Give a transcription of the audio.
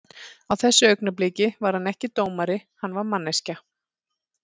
Á þessu augnabliki var hann ekki dómari, hann var manneskja.